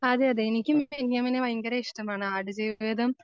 അതെ അതെ എനിക്കും ബെന്യാമിനെ ഭയങ്കര ഇഷ്ടമാണ് ആടുജീവിതം